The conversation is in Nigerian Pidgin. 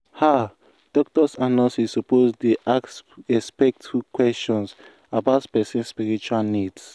ah doctors and nurses suppose dey ask respectful questions about person spiritual needs.